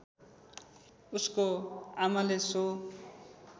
उसको आमाले सो